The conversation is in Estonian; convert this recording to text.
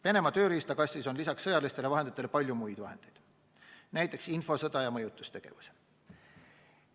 Venemaa tööriistakastis on lisaks sõjalistele vahenditele palju muid vahendeid, näiteks infosõda ja mõjutustegevus.